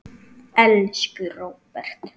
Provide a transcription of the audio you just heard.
Elsku Róbert.